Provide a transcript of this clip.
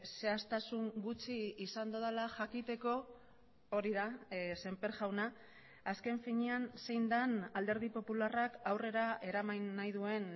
zehaztasun gutxi izan dodala jakiteko hori da sémper jauna azken finean zein den alderdi popularrak aurrera eraman nahi duen